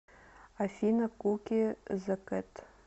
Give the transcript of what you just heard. афина куки зэ кэт